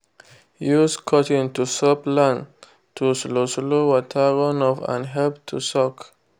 use cutting to soped land to slow slow water runoff and help to soak.